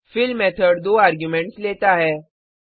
fill method दो arguments लेता है